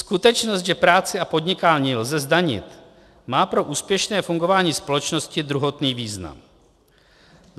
Skutečnost, že práci a podnikání lze zdanit, má pro úspěšné fungování společnosti druhotný význam.